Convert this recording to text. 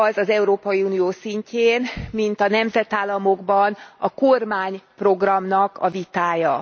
az az Európai Unió szintjén, mint a nemzetállamokban a kormányprogramnak a vitája.